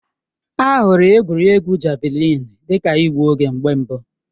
A hụrụ egwuregwu Javalịn dị ka igbu oge mgbe mbụ.